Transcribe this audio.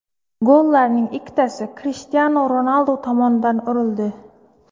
Gollarning ikkitasi Krishtianu Ronaldu tomonidan urildi.